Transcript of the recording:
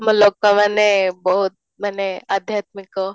ଲୋକମାନେ ବହୁତ ମାନେ ଆଧ୍ୟାତ୍ମିକ